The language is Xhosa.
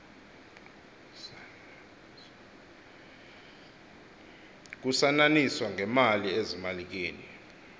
kusananiswana ngemali ezimalikeni